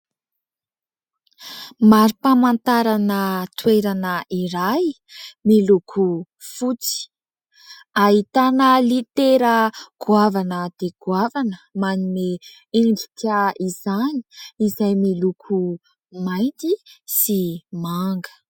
Mari-pamantarana toerana iray miloko fotsy. Ahitana litera goavana dia goavana manome endrika izany izay miloko mainty sy manga.